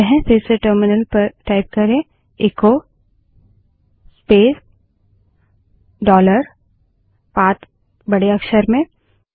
फिर से टर्मिनल पर echo space dollar path echo space dollar PATH बड़े अक्षर में टाइप करें